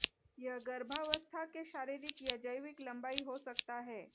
यह गर्भावस्था के शारीरिक या जैविक लम्बाई हो सकता है